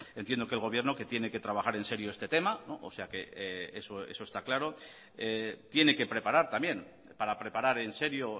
entiendo que el gobierno que tiene que trabajar en serio este tema o sea que eso está claro tiene que preparar también para preparar en serio